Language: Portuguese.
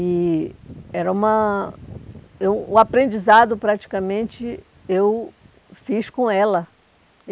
E era uma... eh o aprendizado, praticamente, eu fiz com ela.